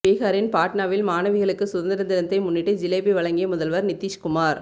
பீகாரின் பாட்னாவில் மாணவிகளுக்கு சுதந்திர தினத்தை முன்னிட்டு ஜிலேபி வழங்கிய முதல்வர் நிதீஷ்குமார்